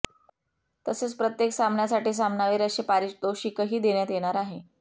तसेच प्रत्येक सामन्यासाठी सामनावीर असे पारितोषिकही देण्यात येणार आहे